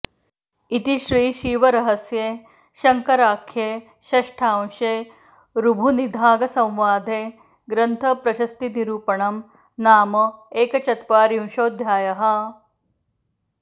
इति श्रीशिवरहस्ये शङ्कराख्ये षष्ठांशे ऋभुनिदाघसंवादे ग्रन्थप्रशस्तिनिरूपणं नाम एकचत्वारिंशोऽध्यायः